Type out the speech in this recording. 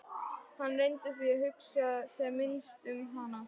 Hann reyndi því að hugsa sem minnst um hana.